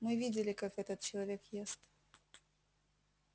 мы видели как этот человек ест